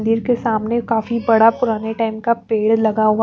मंदिर के सामने काफी बड़ा पुराने टेन का पेड़ लगा हुआ --